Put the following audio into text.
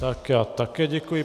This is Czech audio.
Tak já také děkuji.